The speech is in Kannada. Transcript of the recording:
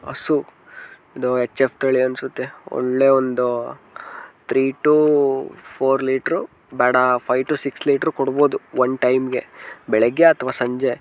ಹಸು ಇದು ಎಚ್ ಎಫ್ ತಳಿ ಅನ್ಸತ್ತೆ ಒಳ್ಳೆ ಒಂದು ಥ್ರೀ ಟು ಫೋರ್ ಲೀಟರ್ ಬ್ಯಾಡ ಫೈವ್ ಟು ಸಿಕ್ಸ್ ಲೀಟರ್ ಕೊಡಬಹುದು ಒಂದ್ ಟೈಮ್ ಗೆ ಬೆಳಿಗ್ಗೆ ಅಥವಾ ಸಂಜೆ.